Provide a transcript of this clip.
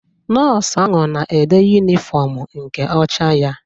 Nọọsụ ahụ na-ede yunifọmu nke ọcha ya.